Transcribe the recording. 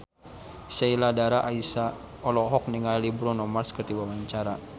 Sheila Dara Aisha olohok ningali Bruno Mars keur diwawancara